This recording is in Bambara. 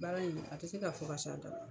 Baara in a tɛ se ka fɔ ka se a dan la.